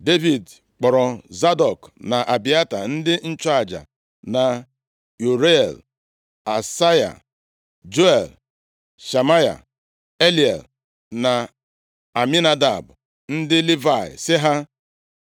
Devid kpọrọ Zadọk na Abịata, ndị nchụaja na Uriel, Asaya, Juel, Shemaya, Eliel, na Aminadab ndị Livayị sị ha,